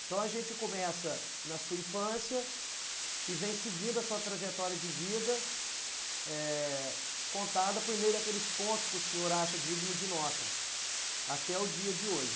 Então a gente começa na sua infância e vem seguindo a sua trajetória de vida, eh, contada por meio daqueles pontos que o senhor acha digno de nota, até o dia de hoje.